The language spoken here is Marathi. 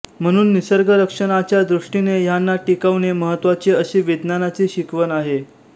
म्हणून निसर्गरक्षणाच्या दृष्टीने ह्यांना टिकवणे महत्त्वाचे अशी विज्ञानाची शिकवण आहे